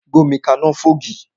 Gbómi kaná fún ògì!